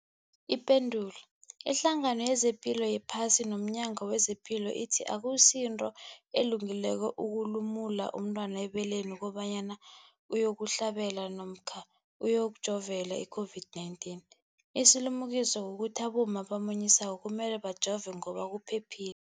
Ipendulo, iHlangano yezePilo yePhasi nomNyango wezePilo ithi akusinto elungileko ukulumula umntwana ebeleni kobanyana uyokuhlabela namkha uyokujovela i-COVID-19. Isilimukiso kukuthi abomma abamunyisako kumele bajove ngoba kuphephile.